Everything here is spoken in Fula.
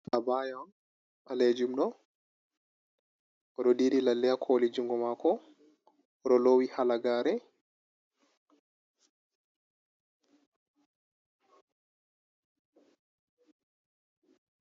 Abaya on, ɓalejumɗo, oɗo diri lalle ha koli jungo mako, oɗo lowi halagare.